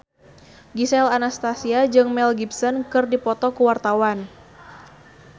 Gisel Anastasia jeung Mel Gibson keur dipoto ku wartawan